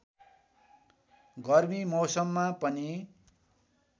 गर्मी मौसममा पनि